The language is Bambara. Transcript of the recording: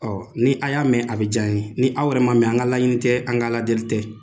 Ɔɔ ni a y'a mɛn a bi jan ye. Ni aw yɛrɛ ma mɛn an ka laɲini tɛ an ka Ala deli tɛ.